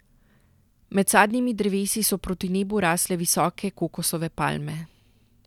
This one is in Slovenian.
Med sadnimi drevesi so proti nebu rasle visoke kokosove palme.